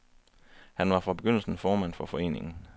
Han var fra begyndelsen formand for foreningen.